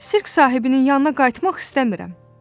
Sirk sahibinin yanına qayıtmaq istəmirəm.